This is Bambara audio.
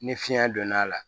Ni fiɲɛ donna a la